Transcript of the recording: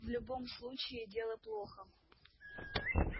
в любом случае дело плохо